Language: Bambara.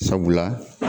Sabula